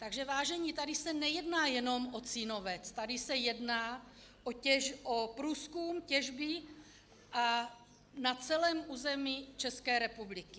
Takže vážení, tady se nejedná jenom o Cínovec, tady se jedná o průzkum a těžbu na celém území České republiky.